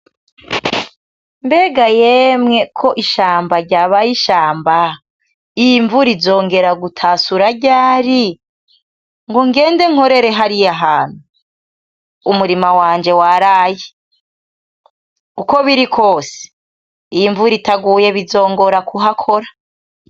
Mbega yemwe ko ishamba ryabaye ishamba, iyi mvura izongera gutasura ryari ngo ngende nkorere hariya hantu ? Umurima wanje waraye. Uko biri kwose iyi mvura itaguye bizongora kuhakora.